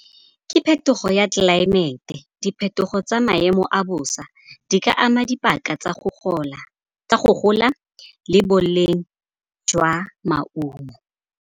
Ke phetogo ya tlelaemete. Diphetogo tsa maemo a bosa di ka ama dipaka tsa go gola le boleng jwa maungo.